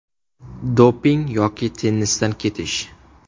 Doping yoki tennisdan ketish?